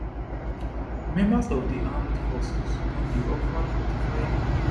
members of di armed forces don dey offered 45